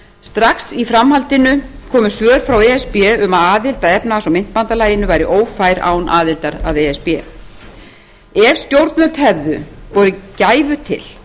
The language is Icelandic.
strax í framhaldinu komu svör frá e s b um að aðild að efnahags og myntbandalaginu væri ófær án aðildar að e s b ef stjórnvöld hefðu borið gæfu til